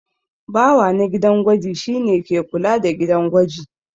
Bawa na gidan gwaji shi ne ke kula da gidan gwaji.